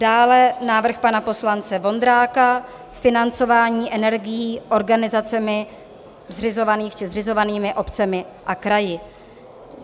Dále návrh pana poslance Vondráka - Financování energií organizacemi zřizovanými obcemi a kraji.